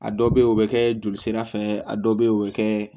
A dɔ bɛ o bɛ kɛ joli sira fɛ a dɔ bɛ yen o bɛ kɛ